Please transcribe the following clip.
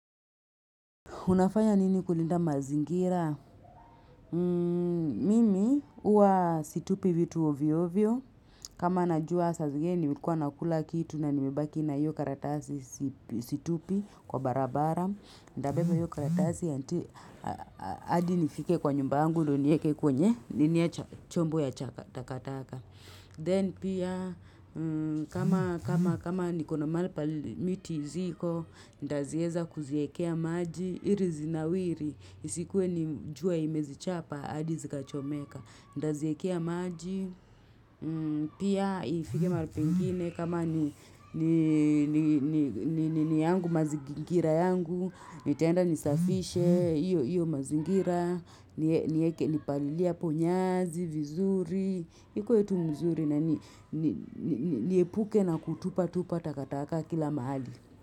Unafanya nini kulinda mazingira? Mimi huwa situpi vitu hovyo hovyo kama najua saa zingine nilikuwa nakula kitu na nimebaki na hiyo karatasi situpi kwa barabara Nitabeba hiyo karatasi mpaka nifike kwa nyumba yangu ndiyo niweke kwenye chombo ya takataka Zeni pia kama niko na mahali miti zipo nitazieza kuziwekea maji ili zinawiri zisikuwe jua imezichapa hadi zikachomeka Nitaziwekea maji mmh, pia ifike mahali pengine kama ni ni yangu mazingira yangu, nitaenda nisafishe, iyo mazingira, nipalilie hapo nyazi, vizuri. Kwetu mzuri nani niepuke na kutupatupa takataka kila mahali.